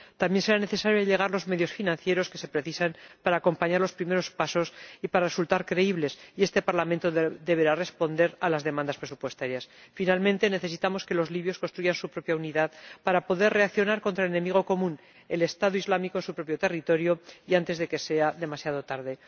También será necesario aportar los recursos financieros que se precisan para acompañar los primeros pasos y resultar creíbles, y este Parlamento deberá responder a las demandas presupuestarias. Por último, necesitamos que los libios construyan su propia unidad para poder reaccionar contra el enemigo común, el Estado Islámico, en su propio territorio y antes de que sea demasiado tarde.